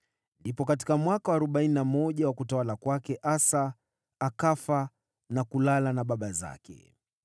Katika mwaka wa arobaini na moja wa utawala wa Asa, alikufa na kulala na baba zake.